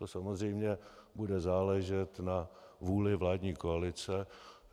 To samozřejmě bude záležet na vůli vládní koalice.